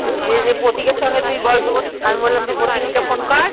প্রতীকের সঙ্গে তুই গল্প করতে আমি বললাম তুই প্রতীক কে Phone কর